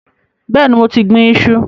Bẹẹni, mo ti gbìn-ín iṣu